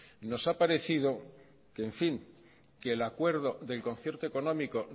nos ha parecido que en fin que el acuerdo del concierto económico